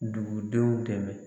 Dugu denw dɛmɛ.